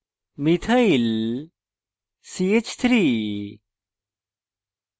methyl methyl ch3